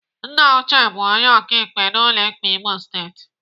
Nna Uche bụ onye ọkaikpe n'ụlọ ikpe Imo Steeti.